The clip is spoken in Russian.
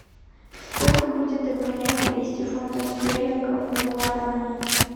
сколько будет обменять двести фунтов стерлингов на гуарани